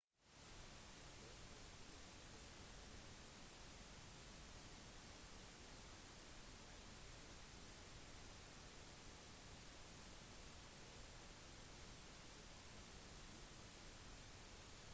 for folk fra australia er ideen om «flat hvit» kaffe utenlandsk. en kort svart er «espresso» cappuccino kommer med fløte ikke skum og te serveres uten melk